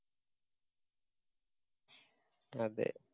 അതെ